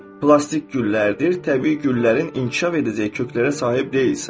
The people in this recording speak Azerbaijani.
Plastik güllərdir, təbii güllərin inkişaf edəcək köklərə sahib deyilsən.